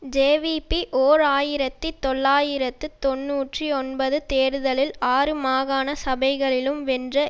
JVP ஓர் ஆயிரத்தி தொள்ளாயிரத்து தொன்னூற்றி ஒன்பது தேர்தலில் ஆறு மாகாண சபைகளிலும் வென்ற